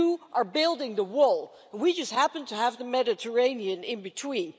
You are building the wall. We just happen to have the Mediterranean in between.